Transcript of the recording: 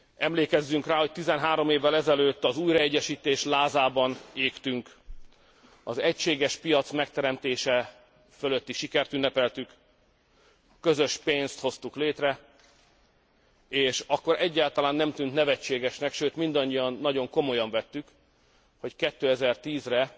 Emlékezzünk rá, hogy 13 évvel ezelőtt az újraegyesítés lázában égtünk, az egységes piac megteremtése fölötti sikert ünnepeltük, a közös pénzt hoztuk létre, és akkor egyáltalán nem tűnt nevetségesnek, sőt, mindannyian nagyon komolyan vettük, hogy 2010 re